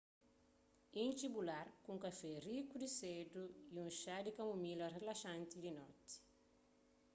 intxi bu lar ku un kafé riku di sedu y un xá di kamomila rilaxanti di noti